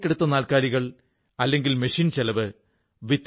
അതിലൂടെ ദരിദ്രരായ കുട്ടികൾക്ക് വായിക്കാൻ സൌജന്യമായി പുസ്തകം നല്കുന്നു